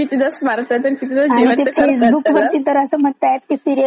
ते फेसबुक वरती तर अस म्हणताते की सीरिअल एकदाच मारून टाका तिला आणि बंद करून टाका.